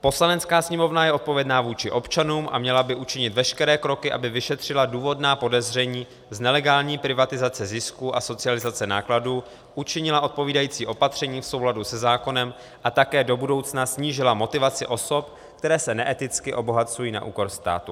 Poslanecká sněmovna je odpovědna vůči občanům a měla by učinit veškeré kroky, aby vyšetřila důvodná podezření z nelegální privatizace zisku a socializace nákladů, učinila odpovídající opatření v souladu se zákonem a také do budoucna snížila motivaci osob, které se neeticky obohacují na úkor státu.